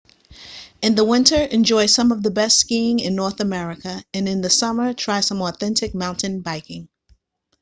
in the winter enjoy some of the best skiing in north america and in the summer try some authentic mountain biking